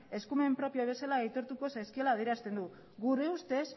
eskumen propio bezala aitortuko zaizkiola adierazten du gure ustez